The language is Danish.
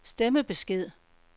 stemmebesked